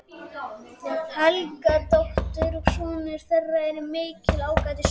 Helgadóttur, og sonur þeirra er mikill ágætismaður.